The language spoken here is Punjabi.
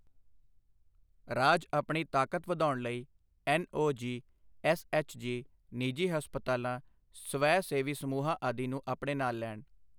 ਰਾਜ ਆਪਣੀ ਤਾਕਤ ਵਧਾਉਣ ਲਈ ਐੱਨਓਜੀ, ਐੱਸਐੱਚਜੀ, ਨਿਜੀ ਹਸਪਤਾਲਾਂ, ਸਵੈ ਸੇਵੀ ਸਮੂਹਾਂ ਆਦਿ ਨੂੰ ਆਪਣੇ ਨਾਲ ਲੈਣ।